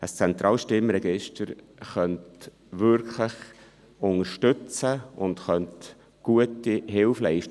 Ein zentrales Stimmregister könnte unterstützen und Hilfe leisten.